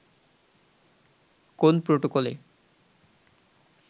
কোন প্রটোকলে